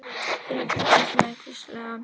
Ég fylgist með, hvíslaði hann.